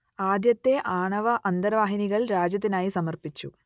ആദ്യത്തെ ആണവ അന്തർവാഹിനികൾ രാജ്യത്തിനായി സമർപ്പിച്ചു